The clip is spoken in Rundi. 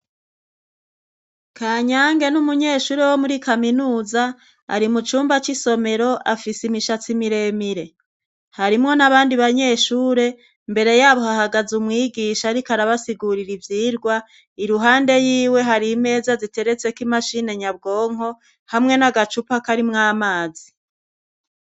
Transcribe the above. Kanyange ni umunyeshuri wo muri kaminuza ari mu cumba c'isomero afise imishatsi mire mire harimwo n'abandi banyeshure imbere yabo hahagaze umwigisha ariko arabasigurira ivyigwa iruhande yiwe hari imeza ziteretseko imashini nyabwonko hamwe n'agacupa karimwo amazi.